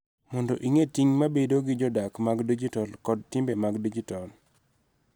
Mondo ing�e ting� mag bedo jodak mag dijitol kod timbe mag dijitol.